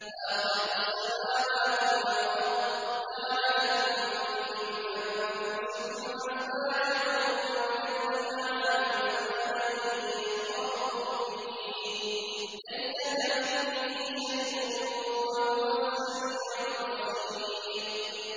فَاطِرُ السَّمَاوَاتِ وَالْأَرْضِ ۚ جَعَلَ لَكُم مِّنْ أَنفُسِكُمْ أَزْوَاجًا وَمِنَ الْأَنْعَامِ أَزْوَاجًا ۖ يَذْرَؤُكُمْ فِيهِ ۚ لَيْسَ كَمِثْلِهِ شَيْءٌ ۖ وَهُوَ السَّمِيعُ الْبَصِيرُ